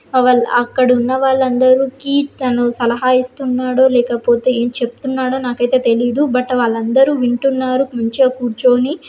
అ వాళ్ అక్కడ ఉన్నవాళ్ళందరు కి తను సలహా ఇస్తున్నాడో లేకపోతే ఏం చెప్తున్నాడో నాకైతే తెలీదు బట్ వాళ్ళందరూ వింటున్నారు మంచిగా కూర్చొని --